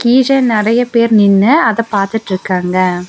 ஈசைன் நெறைய பேர் நின்னு அத பாத்துட்ருக்காங்க.